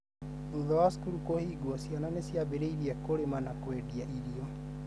thutha wa cukuru kuhingwo, ciana ciambirĩirie kũrĩma na kũendea irio